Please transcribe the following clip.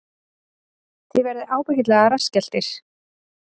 Þið verðið ábyggilega rassskelltir